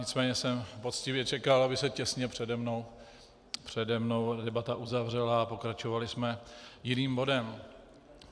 Nicméně jsem poctivě čekal, aby se těsně přede mnou debata uzavřela, a pokračovali jsme jiným bodem.